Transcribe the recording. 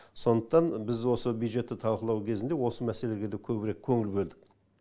сондықтан біз осы бюджетті талқылау кезінде осы мәселелерге де көбірек көңіл бөлдік